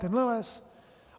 Tenhle les?